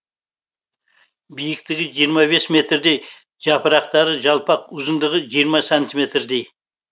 биіктігі жиырма бес метрдей жапырақтары жалпақ ұзындығы жиырма сантиметрдей